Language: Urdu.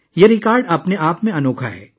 یہ ریکارڈ اپنے آپ میں حیرت انگیز ہے